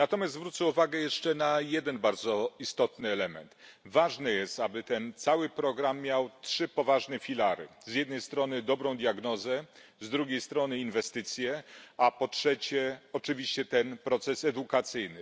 Natomiast zwrócę jeszcze uwagę na jeden bardzo istotny element ważne jest, aby ten cały program miał trzy poważne filary z jednej strony dobrą diagnozę, z drugiej strony inwestycje, a po trzecie oczywiście proces edukacyjny.